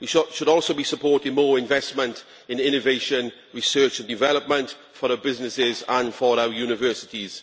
We should also be supporting more investment in innovation, research and development for our businesses and for our universities.